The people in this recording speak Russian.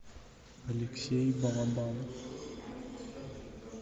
алексей балабанов